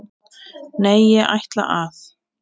Nei, ég ætla að.